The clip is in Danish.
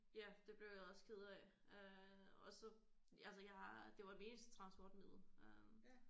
Ja det blev jeg også ked af øh og så altså jeg har det var mit eneste transportmiddel øh